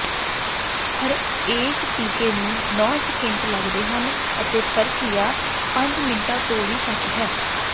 ਹਰੇਕ ਟੀਕੇ ਨੂੰ ਨੌਂ ਸਕਿੰਟ ਲੱਗਦੇ ਹਨ ਅਤੇ ਪ੍ਰਕਿਰਿਆ ਪੰਜ ਮਿੰਟਾਂ ਤੋਂ ਵੀ ਘੱਟ ਹੈ